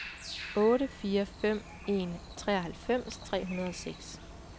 otte fire fem en treoghalvfems tre hundrede og seks